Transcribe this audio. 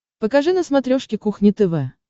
покажи на смотрешке кухня тв